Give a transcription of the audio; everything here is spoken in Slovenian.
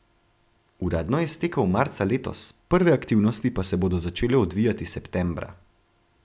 Uradno je stekel marca letos, prve aktivnosti pa se bodo začele odvijati septembra.